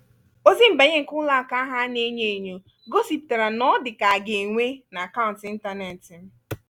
ozi nbanye nke ụlọ akụ ahụ ana-enyo enyo gosipụtara na ọ dịka aga enwe n'akaụntụ ịntanetị m.